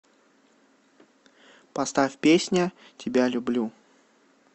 поставь песня тебя люблю